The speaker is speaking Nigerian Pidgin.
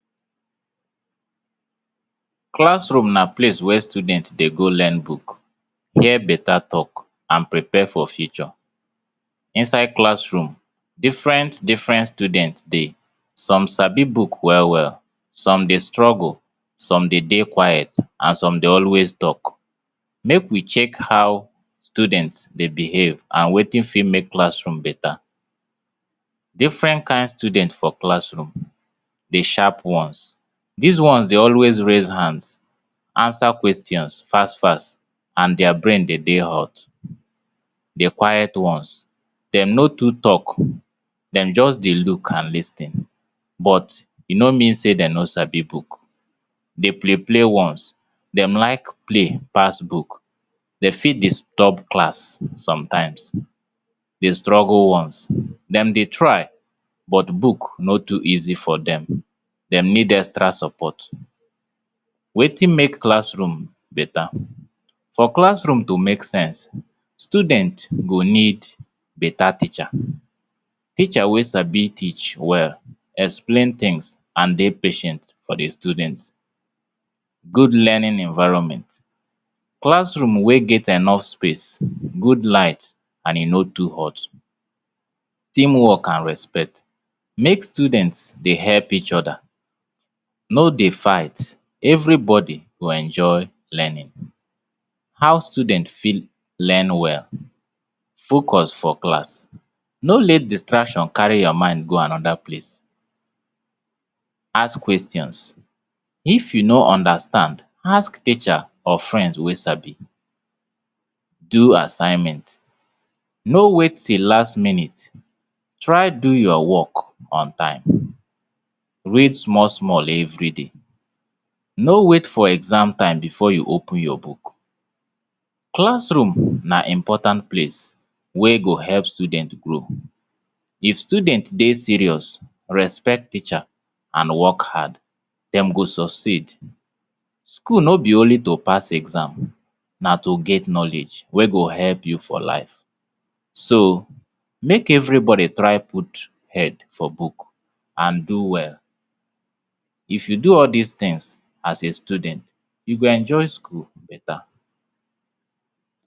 Classroom na place wey student dey go learn book, hear beta talk and prepare for future. Inside classroom, different, different student dey. Some sabi book well, well! Some dey struggle, some dey dey quiet and some dey always talk. Make we check how student dey behave and wetin fit make classroom beta. Different kind students for classroom. De sharp ones: dis ones de always raise hands, answer questions fast! fast! And dia brain dey dey hot. De quiet ones: dem no too talk. Dem just dey look and lis ten, but e no mean sey dem no sabi book. De play play ones: dem like play pass book. Dey fit disturb class sometimes. De struggle ones: dem dey try but book no too easy for dem. Dem need extra support. Wetin make classroom beta? For classroom to make sense, students go need beta teacher. Teacher wey sabi teach well, explain tins and dey patient for de student. Good learning environment. Classroom wey get enough space, good light and e no too hot. Teamwork and respect. Make student dey help each oda, no dey fight. Everybody go enjoy learning. How student fit learn well? Focus for class: No let distraction kari your mind go anoda place. Ask questions: If you no understand, ask teacher or friend wey sabi. Do assignment: No wait till last minute. Try do your work on time. Read small, small everyday: No wait for exam time before you open your book. Classroom na important place wey go help student grow. If student dey serious, respect teacher and work hard, dem go succeed. School no be only to pass exams, na to get knowledge wey go help you for life. So.o make everybody try put head for book and try do well. If you do all dis tins as a student, you go enjoy school beta.